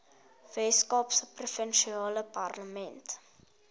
weskaapse provinsiale parlement